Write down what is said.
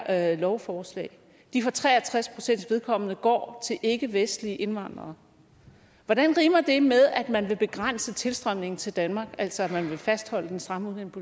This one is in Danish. her lovforslag for tre og tres pcts vedkommende går til ikkevestlige indvandrere hvordan rimer det med at man vil begrænse tilstrømningen til danmark altså at man vil fastholde den stramme